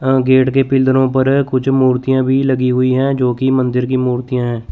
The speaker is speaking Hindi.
अं गेट के पिलरों पर कुछ मूर्तियां भी लगी हुई हैं जो की मंदिर की मूर्तियां हैं।